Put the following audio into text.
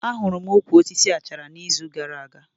Ahụrụ m ukwu osisi Baoba na izu gara aga